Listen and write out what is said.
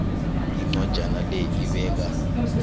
incwajana le ibeka